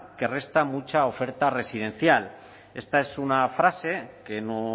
que resta mucha oferta residencial esta es una frase que no